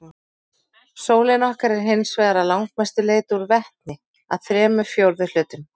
Sólin okkar er hins vegar að langmestu leyti úr vetni, að þremur fjórðu hlutum.